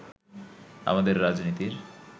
আমাদের রাজনীতির